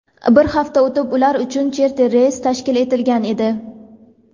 bir hafta o‘tib ular uchun charter reys tashkil etilgan edi.